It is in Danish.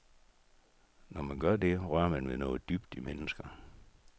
Når man gør det, rører man ved noget dybt i mennesker.